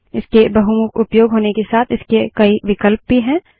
इसके बहुमुख उपयोग होने के साथ इसके कई विकल्प भी हैं